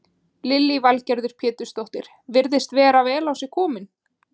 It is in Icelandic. Lillý Valgerður Pétursdóttir: Virðist vera vel á sig kominn?